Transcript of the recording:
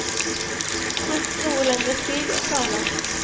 Brukt noe lengre tid enn planlagt.